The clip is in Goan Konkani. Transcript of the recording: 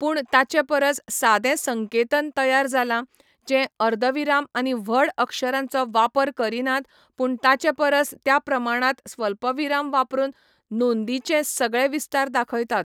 पूण ताचेपरस सादें संकेतन तयार जालां, जें अर्दविराम आनी व्हड अक्षरांचो वापर करिनात, पूण ताचेपरस त्या प्रमाणांत स्वल्पविराम वापरून नोंदींचे सगळे विस्तार दाखयतात.